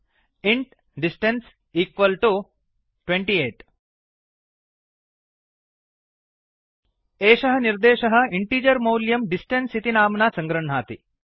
int distance equal to 28 एषः निर्देशः statement integer मौल्यं डिस्टेन्स इति नाम्ना सङ्गृह्णाति